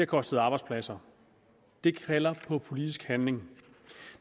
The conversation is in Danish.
kostet arbejdspladser det kalder på politisk handling